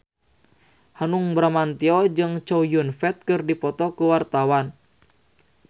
Hanung Bramantyo jeung Chow Yun Fat keur dipoto ku wartawan